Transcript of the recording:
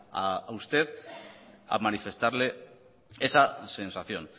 a usted a manifestarle esa sensación